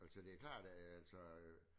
Altså det er klart at altså øh